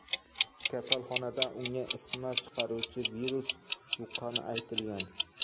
Kasalxonada unga isitma chiqaruvchi virus yuqqani aytilgan.